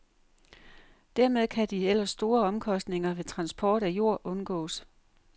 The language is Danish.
Dermed kan de ellers store omkostninger ved transport af jord undgås.